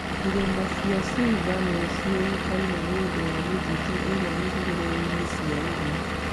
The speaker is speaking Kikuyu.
Irĩma cia Shimba nĩ ciĩkaine nĩ ũndũ wa mĩtitũ ĩrĩa ĩrĩ hũgũrũrũ-inĩ cia iria.